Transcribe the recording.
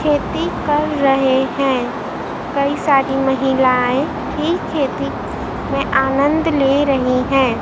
खेती कर रहे हैं कई सारी महिलाएं भी खेती में आनंद ले रही हैं।